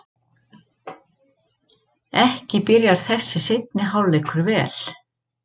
Ekki byrjar þessi seinni hálfleikur vel!